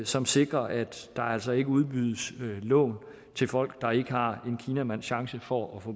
som sikrer at der altså ikke udbydes lån til folk der ikke har en kinamands chance for at få